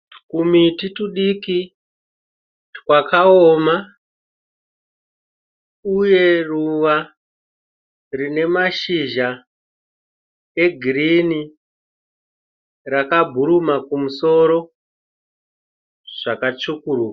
Twumiti twudiki twakaoma uye ruva rine mashizha egirinhi rakabhuruma kumusoro zvakatsvukuruka.